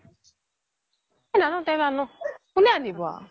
নানো নানো কোনে আনিব